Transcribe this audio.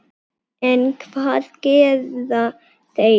En hvað gera þeir?